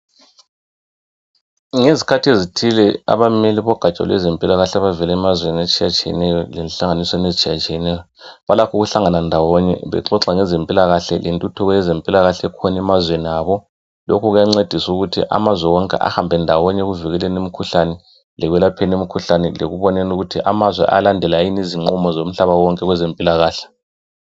Ngezikhathi ezithile abameli bogaja lwezempilakahle abavela emazweni lenhlanganiso ezitshiyeneyo balakho ukuhlangana ndawonye bexoxa ngezempilakahle lentuthuko yezempilakahle ekhona emazweni abo. Lokhu kuyancedisa ukuthi amazwe wonke ahambe ndawonye ekuvikeleni lekwelapheni imikhuhlane, lekuboneni ukuthi amazwe ayalandela yini izinqumo zomhlaba wonke kwezempilakahle.